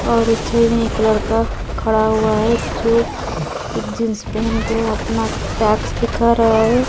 और इस छवि में एक लड़का खड़ा हुआ है जो जींस पहन के अपना पैक्स दिखा रहा है।